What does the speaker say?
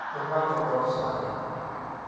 kitaku tosai.